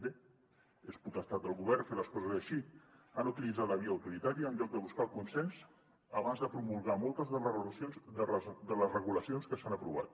bé és potestat del govern fer les coses així han utilitzat la via autoritària en lloc de buscar el consens abans de promulgar moltes de les regulacions que s’han aprovat